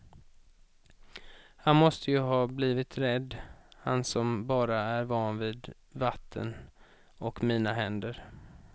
Han måste ju ha blivit rädd, han som bara är van vid vatten och mina händer.